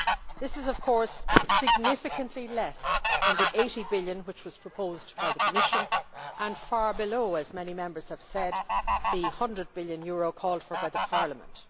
This is of course significantly less than the EUR 80 billion which was proposed by the Commission and far below, as many Members have said, the EUR 100 billion called for by Parliament.